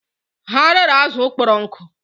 Ha rere azụ kpọrọ nkụ